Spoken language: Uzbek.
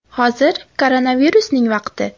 Hozir koronavirusning vaqti.